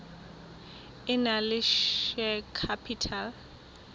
e nang le share capital